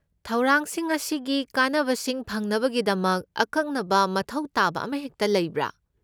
ꯊꯧꯔꯥꯡꯁꯤꯡ ꯑꯁꯤꯒꯤ ꯀꯥꯟꯅꯕꯁꯤꯡ ꯐꯪꯅꯕꯒꯤꯗꯃꯛ ꯑꯀꯛꯅꯕ ꯃꯊꯧ ꯇꯥꯕ ꯑꯃꯍꯦꯛꯇ ꯂꯩꯕ꯭ꯔꯥ?